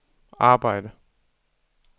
arbejde